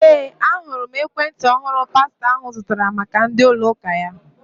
Ee, ahụrụ m ekwentị ọhụrụ pastọ ahụ zụtara maka ndi ųlo ųka ya.